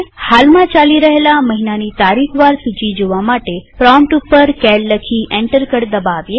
હાલમાં ચાલી રહેલા મહિનાની તારીખ વાર સૂચી જોવા પ્રોમ્પ્ટ ઉપર સીએએલ લખી અને એન્ટર કળ દબાવીએ